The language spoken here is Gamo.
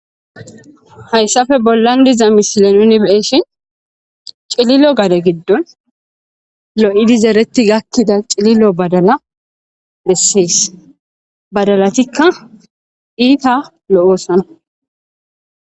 Hayssafe bollan diza mishile nuni beeshin cililo gare giddon lo7idizereti gakkida cililo badala dessees badalatikka iita lo'oossana.